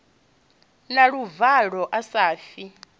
na luvalo a sa ofhi